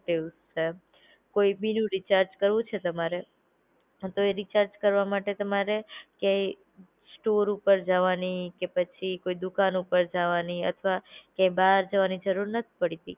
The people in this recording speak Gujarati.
કોઈ ભી નું રિચાર્જ કરવું છે તમારે, હ તો એ રિચાર્જ કરવા માટે તમારે કઈ સ્ટોર ઉપર જવાની કે પછી કોઈ દુકાન ઉપર જવાની અથવા ક્યાંય બહાર જવાની જરૂરત નત પડતી